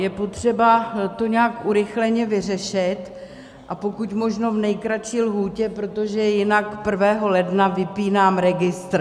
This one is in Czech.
Je potřeba to nějak urychleně vyřešit a pokud možno v nejkratší lhůtě, protože jinak 1. ledna vypínám registr.